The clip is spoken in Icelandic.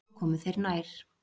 Svo komu þeir nær.